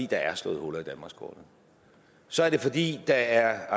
der er slået huller i danmarkskortet så er det fordi der